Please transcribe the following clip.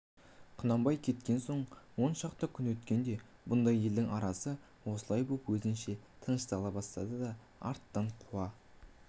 құнанбай кеткен соң он шақты күн өткенде бұндағы елдің арасы осылай боп өзінше тыныштана бастады да арттан қуа